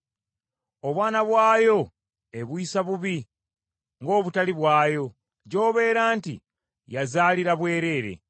Obwana bwayo ebuyisa bubi ng’obutali bwayo gy’obeera nti, yazaalira bwereere.